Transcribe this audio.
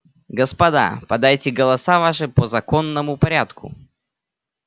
господа подайте голоса ваши по законному порядку